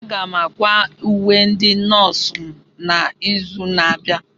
Aga m ákwà uwe ndị nọọsụ m n'izu na-abịa.